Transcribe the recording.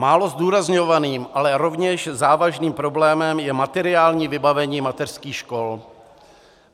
Málo zdůrazňovaným, ale rovněž závažným problémem je materiální vybavení mateřských škol.